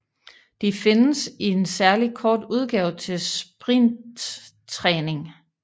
De findes i en særligt kort udgave til sprinttræning